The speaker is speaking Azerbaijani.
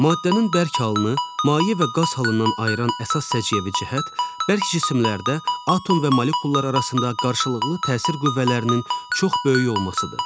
Maddənin bərk halını maye və qaz halından ayıran əsas səciyyəvi cəhət, bərk cisimlərdə atom və molekullar arasında qarşılıqlı təsir qüvvələrinin çox böyük olmasıdır.